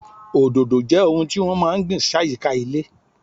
Òdòdó jẹ́ ohun tí wọ́n máa ń gbìn sáyìíká ilé.